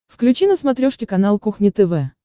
включи на смотрешке канал кухня тв